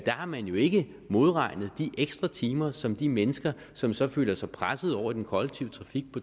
har man jo ikke modregnet de ekstra timer som de mennesker som så føler sig presset over i den kollektive trafik